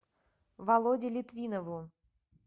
володе литвинову